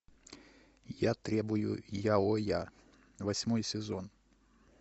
я требую яоя восьмой сезон